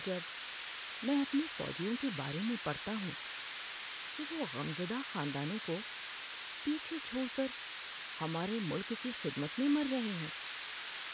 جب میں اپنے فوجیوں کے بارے میں پڑھتا ہوں کہ وہ غمزدہ خاندانوں کو پیچھے چھوڑ کر ہمارے ملک کی خدمت میں مر رہے ہیں